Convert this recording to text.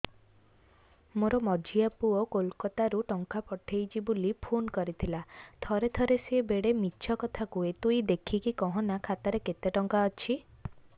ମୋର ମଝିଆ ପୁଅ କୋଲକତା ରୁ ଟଙ୍କା ପଠେଇଚି ବୁଲି ଫୁନ କରିଥିଲା ଥରେ ଥରେ ସିଏ ବେଡେ ମିଛ କଥା କୁହେ ତୁଇ ଦେଖିକି କହନା ଖାତାରେ କେତ ଟଙ୍କା ଅଛି